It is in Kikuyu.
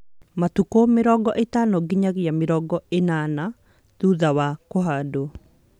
Matukũ mĩrongo ĩtano nginyagia mĩrongo ĩnana thutha wa kũhandwo